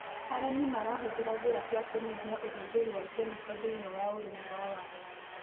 Arĩmi marahũthĩra njĩra cia kũnyihia ũhũthĩri wa kemiko thĩiniĩ wa ũrĩmi wa waru.